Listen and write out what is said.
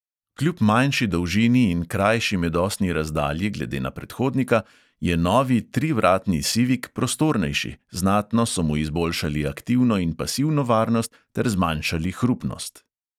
Kljub manjši dolžini in krajši medosni razdalji glede na predhodnika je novi trivratni sivik prostornejši, znatno so mu izboljšali aktivno in pasivno varnost ter zmanjšali hrupnost.